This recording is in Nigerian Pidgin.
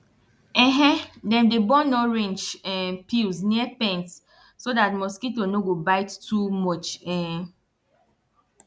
um dem dey burn orange um peels near pens so dat mosquito no go bite too much um